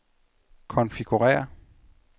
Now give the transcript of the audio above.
konfigurér